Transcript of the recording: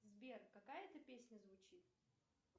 сбер какая это песня звучит